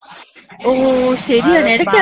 ഓ ശരിയാണ് ഇടയ്ക്കത്.